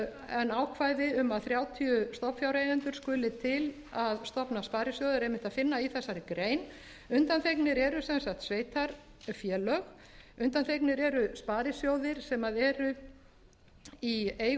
en ákvæði um að þrjátíu stofnfjáreigendur skuli til að stofna sparisjóð er einmitt að finna í þessari grein undantekningar eru sem sagt sveitarfélög undanþegnir eru sparisjóðir sem eru í eigu